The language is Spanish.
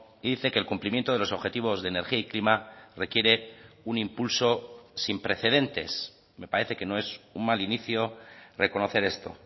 y dice que el cumplimiento de los objetivos de energía y clima requiere un impulso sin precedentes me parece que no es un mal inicio reconocer esto